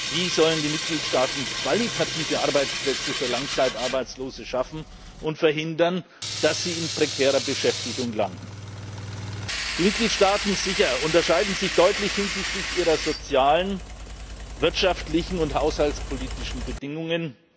Wie sollen die Mitgliedstaaten qualitative Arbeitsplätze für Langzeitarbeitslose schaffen und verhindern, dass sie in prekärer Beschäftigung landen? Die Mitgliedstaaten unterscheiden sich sicher deutlich hinsichtlich ihrer sozialen, wirtschaftlichen und haushaltspolitischen Bedingungen.